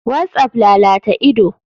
Whatsapp lalata ido.